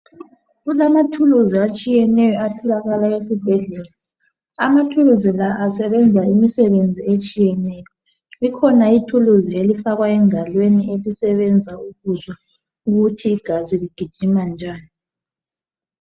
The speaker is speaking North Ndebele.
kulamathuluzi atshiyeneyo atholakala esibhedlela amathuluzi la asebenza imisebenzi etshiyeneyo kukhona ithuluzi elifakwa engalweni elisebenza ukuzwa ukuthi igazi ligijima njani